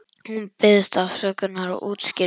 Hún biðst afsökunar og útskýrir það.